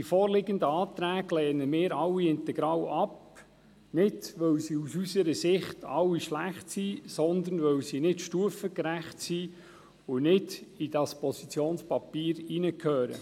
Die vorliegenden Anträge lehnen wir alle integral ab, nicht, weil sie aus unserer Sicht alle schlecht sind, sondern weil sie nicht stufengerecht sind und nicht in dieses Positionspapier hineingehören.